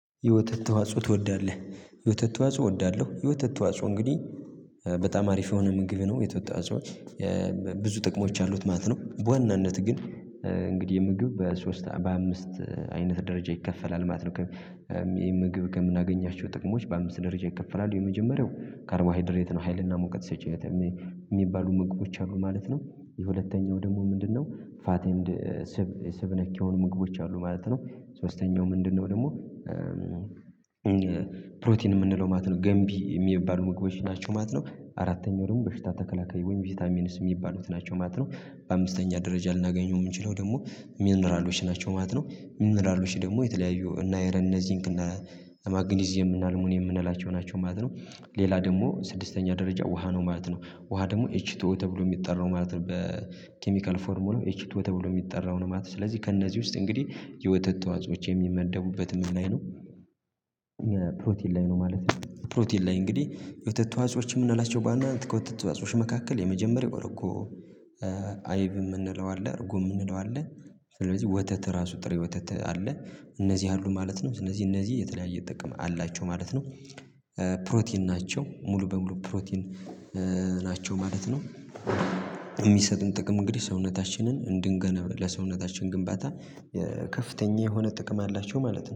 የወተት ተዋጽኦ ትወዳለህ? የወተት ተዋጽኦ እወዳለሁ የወተት ተዋጽኦ እንግዲህ በጣም አሪፍ የሆነ ምግብ ነው የተወተት ተዋጽኦ። ብዙ ጥቅሞች አሉት ማለት ነው። በዋናነት ግን እንግዲህ ምግብ በሶስት በአምስት አይነት ደረጃ ይከፈላል ማለት ነው። ይሄን ምግብ ከምናገኛቸው ጥቅሞች በአምስት ደረጃ ይከፈላሉ የመጀመሪያው ካርቦሃይድሬት ነው ሀይልና ሞቀት ሰጪው የሚባሉ ምግቦች አሉ ማለት ነው። የሁለተኛው ደግሞ ምንድነው ምንድነው? ፋት ኤንድ ስብ ስብ ነክ የሆኑ ምግቦች አሉ ማለት ነው። ሶስተኛው ምንድነው? ደግሞ የምንለው ማለት ነው ገንቢ የሚባሉ ምግቦች ናቸው ማለት ነው። አራተኛው ደግሞ በሽታ ተከላካይ ወይም ቪዚታሚኒስ የሚባሉት ናቸው ማለት ነው። በአምስተኛ ደረጃ ልናገኘው የምንችለው ደግሞ ሚኒራሎች ናቸው ማለት ነው። ሚኒራሎች ደግሞ የተለያዩ እነአይረን እነዚንክ እነማግኒዝ እነአልሙኒየም የምንላቸው ናቸው ማለት ነው። ሌላ ደግሞ ስድስተኛ ደረጃ ውሃ ነው ማለት ነው። ውሃ ደግሞ ኤች ቱ ኦ ተብሎ የሚጠራው ማለት ነው በኬሚካል ፎርሙላው ኤች ቱ ኦ ተብሎ የሚጠራው ነው ማለት ነው። ስለዚህ ከእነዚህ ውስጥ እንግዲህ የወተት ተዋጾዎች የሚመደቡበት ላይ ነው ላይ ነው ማለት ነው። ፕሮቲን ላይ እንግዲህ የወተት ተዋጸዎች የምንላቸው በዋና ከወተትዋጾች መካከል የመጀመሪያው እርጐ አይብ የምንለው አለ። እርጐ የምንለው አለ። ስለዚህ ወተት ራሱ ጥሬ ወተት አለ። እነዚህ አሉ ማለት ነው ስለዚህ እነዚህ የተለያየ ጥቅም አላቸው ማለት ነው። ፕሮቲን ናቸው ሙሉ በሙሉ ፕሮቲን ናቸው ማለት ነው። የሚሰጡን ጥቅም እንግዲህ ሰውነታችንን እንድንገነባ ለሰውነታችን ግንባታ ከፍተኛ የሆነ ጥቅም አላቸው ማለት ነው